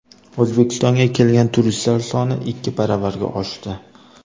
O‘zbekistonga kelgan turistlar soni ikki baravarga oshdi.